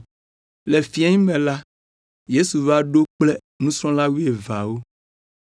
Le fiẽ me la, Yesu va ɖo kple nusrɔ̃la wuieveawo.